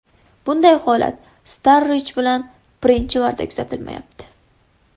Bunday holat Starrij bilan birinchi marta kuzatilmayapti.